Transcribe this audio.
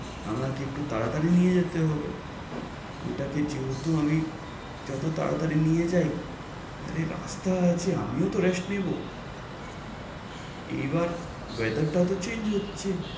আমাকে একটু তাড়াতাড়ি নিয়ে যেতে হবে। ওই টাকে যেহেতু আমি যত তাড়াতাড়ি নিয়ে যায়, আরে রাস্তা আছে আমি ও তো rest নেব। এবার weather টাও তো change হচ্ছে।